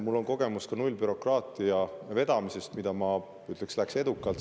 Mul on kogemus ka nullbürokraatia vedamisest, mis, ma ütleks, läks edukalt.